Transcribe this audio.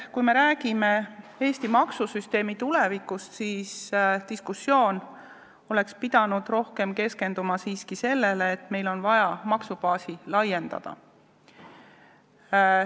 Kui me räägime Eesti maksusüsteemi tulevikust, siis diskussioon peaks rohkem keskenduma sellele, et meil on vaja maksubaasi laiendada.